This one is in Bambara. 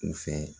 U fɛ